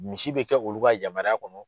Misi bɛ kɛ olu ka yamaruya kɔnɔ